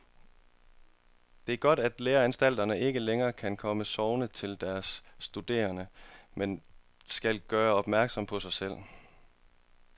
Det er godt, at læreanstalterne ikke længere kan komme sovende til deres studerende, men skal gøre opmærksom på sig selv.